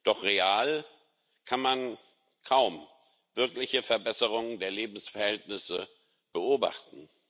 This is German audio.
Doch real kann man kaum eine wirkliche Verbesserung der Lebensverhältnisse beobachten.